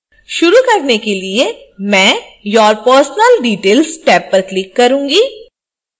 शुरू करने के लिए मैं your personal details टैब पर click करूंगी